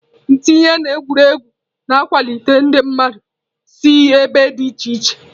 Ntinye na egwuregwu na-akwalite ndị mmadụ si ebe dị iche iche.